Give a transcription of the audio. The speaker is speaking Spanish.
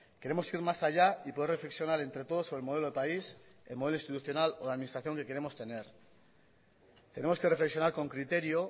queremos ir más allá y poder reflexionar entre todos sobre el modelo de país el modelo institucional o la administración que queremos tener tenemos que reflexionar con criterio